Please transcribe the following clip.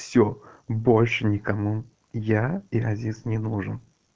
все больше никому я еразис не нужен